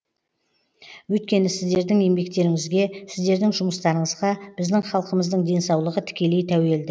өйткені сіздердің еңбектеріңізге сіздердің жұмыстарыңызға біздің халқымыздың денсаулығы тікелей тәуелді